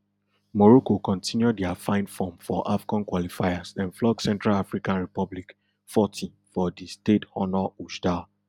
morocco continue dia fine form for afcon qualifiers dem flog central african republic forty for di stade honor oujda